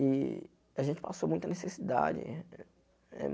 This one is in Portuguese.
E a gente passou muita necessidade.